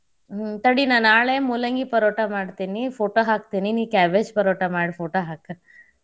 ಹ್ಮ್ ತಡಿ ನಾ ನಾಳೆ ಮೂಲಂಗಿ ಪರೋಟಾ ಮಾಡ್ತೇನಿ photo ಹಾಕ್ತೇನಿ ನೀ cabbage ಪರೋಟಾ ಮಾಡಿ photo ಹಾಕ್.